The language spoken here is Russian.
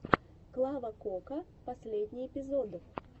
клава кока последний эпизод